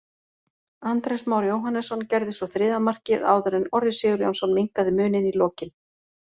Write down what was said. Andrés Már Jóhannesson gerði svo þriðja markið áður en Orri Sigurjónsson minnkaði muninn í lokin.